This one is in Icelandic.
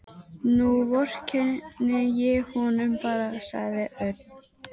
Nú vorkenni ég honum bara, sagði Örn.